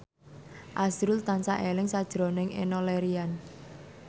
azrul tansah eling sakjroning Enno Lerian